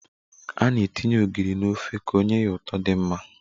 A na-etinye ogiri n'ofe ka o nye ụtọ di mma